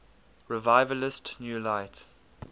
revivalist new light